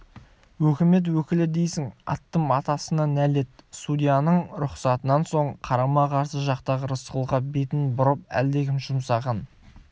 өкімет өкілі дейсің аттым атасына нәлет судьяның рұқсатынан соң қарама-қарсы жақтағы рысқұлға бетін бұрып әлдекім жұмсаған